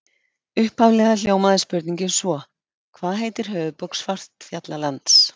Upphaflega hljómaði spurningin svo: Hvað heitir höfuðborg Svartfjallalands?